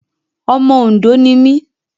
Ọmọ Òndó ni mí.